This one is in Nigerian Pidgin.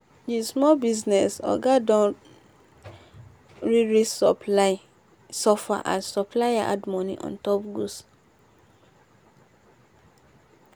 the small business oga don really suffer as supplier add money on top goods